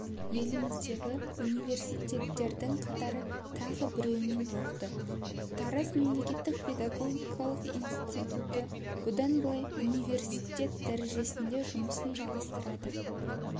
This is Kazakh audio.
еліміздегі университеттердің қатары тағы біреуімен толықты тараз мемлекеттік педагогикалық институты бұдан былай университет дәрежесінде жұмысын жалғастырады